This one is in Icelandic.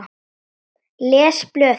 Les blöðin.